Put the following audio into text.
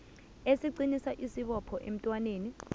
esiqinisa isibopho emntwaneni